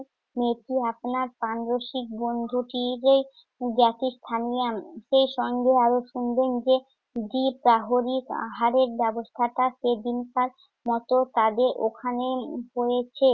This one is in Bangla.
মেয়েটি আপনার প্রাণরসিক বন্ধুটিরই জ্ঞাতীস্থানীয়া, সেই সঙ্গে আরো শুনবেন যে দ্বিপ্রাহরিক আহারের ব্যবস্থাটা সেদিনকার মত তাদের ওখানেই উম হয়েছে।